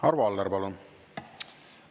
Arvo Aller, palun!